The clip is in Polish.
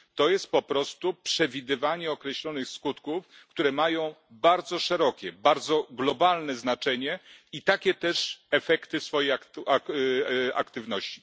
To jest po prostu przewidywanie określonych skutków, które mają bardzo szerokie, bardzo globalne znaczenie i takie też efekty aktywności.